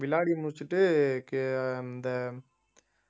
விளையாடி முடிச்சிட்டு கே~ அந்த